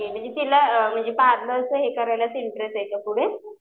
Okay म्हणजे तिला पार्लरचं हे करायला इंटरेस्ट आहे का पुढे?